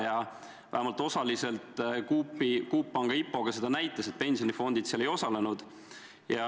Ja vähemalt osaliselt Coop Panga IPO seda ka näitas, pensionifondid seal ei osalenud.